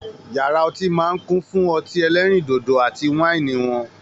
Yàrá ọtí máa n kún fún ọtí ẹ̀lẹ̀rindodo àti waini eo wọn.